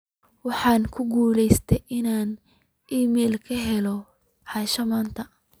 waxaan ku guuleystey in aan iimayl ka helo asha maanta